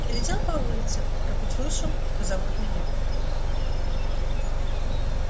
я летел по улице как услышал что зовут меня